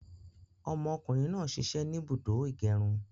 Ọmọ kùnrin náà sisẹ́ ni ibùdó ìgẹrun